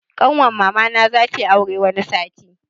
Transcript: Ƙanwar mamana za tayi aure wani sati.